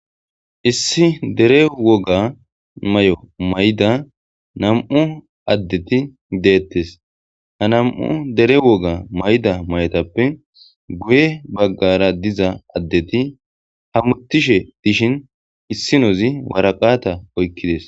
Issi dere woga may'o mayda nam'u addeti deettes ha nam'u dere woga mayda may'otappe guye baggara diza addeti hamuttishe dishin issinozi waraqata oykkides.